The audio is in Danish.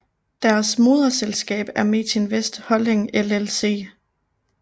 Deres moderselskab er Metinvest Holding LLC